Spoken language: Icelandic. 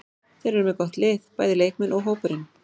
Þeir eru með gott lið, bæði leikmenn og hópurinn.